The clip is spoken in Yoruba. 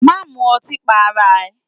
Má mu ọtí pa ara rẹ!